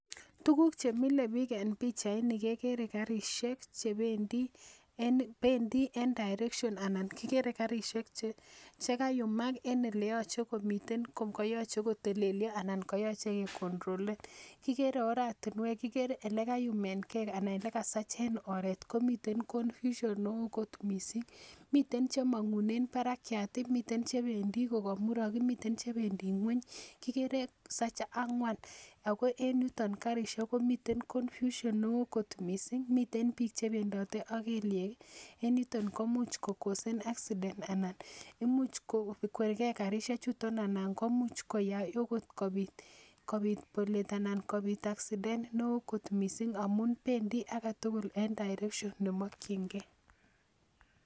Tuguk chemile biik en pichait ni kekere karisiek chebendii en bendii en direction ana kikere karisiek chekayumak en eleyoche komiten koyoche kotelelyo anan koyoche ke kontrolen kikere oratinwek kikere olekayumen gee ana olekasachen oret komiten confusion neoo kot missing miten chemong'unen barakiat ih miten chebendii kokamurok ih miten chebendii ng'weny kikere sach ang'wan ako en yuton karisiek komiten confusion neoo kot missing miten biik chebendote ak kelyek en yuton komuch ko kosen accident anan imuch ko kwergee karisiek chuton anan komuch koyai okot kobit bolet anan kobit accident neoo kot missing amun bendii aketugul en direction nemokyingee